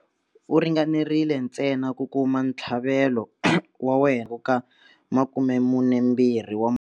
U ringanerile ntsena ku kuma ntlhavelo wa wena 42 wa.